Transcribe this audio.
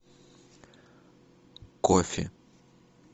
кофе